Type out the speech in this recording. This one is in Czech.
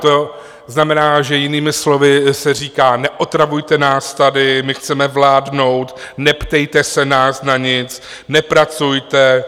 To znamená, že jinými slovy se říká: neotravujte nás tady, my chceme vládnout, neptejte se nás na nic, nepracujte.